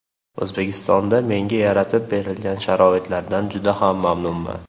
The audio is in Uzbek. O‘zbekistonda menga yaratib berilgan sharoitlardan juda ham mamnunman.